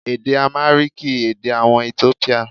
Èdè Àmáríkìì, èdè àwọn Etiópíà.